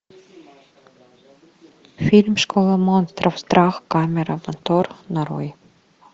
фильм школа монстров страх камера мотор нарой